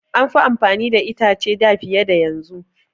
An fi amfani da itace da fiye da yanzu.